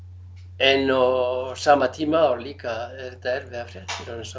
en á sama tíma þá líka eru þetta erfiðar fréttir